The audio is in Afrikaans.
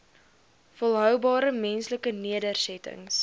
volhoubare menslike nedersettings